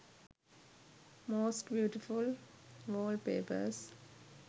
most beautiful wallpapers